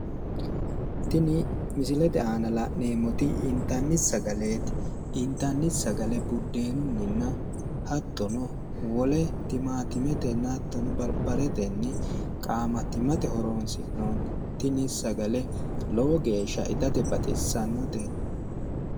tini misilete aana la'neemmoti intanni sagaleeti intanni sagale buddeenunninna hattono wole timaattimetenna hattono barbaretenni qaamattimate horonsi'noonni tini saga lowo geeshsha itate baxissannote.